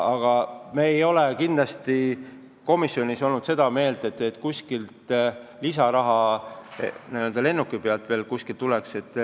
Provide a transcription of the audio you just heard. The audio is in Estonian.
Aga me ei ole komisjonis olnud seda meelt, et lennuki pealt tuleb veel raha lisaks.